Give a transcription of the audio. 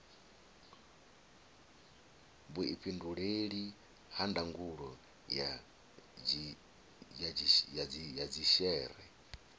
vhuifhinduleli ha ndangulo ya dzhishere